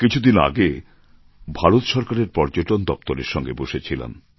কিছুদিন আগে ভারত সরকারের পর্যটন দপ্তরের সঙ্গে বসেছিলাম